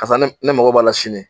Karisa ne ne mago b'a la sini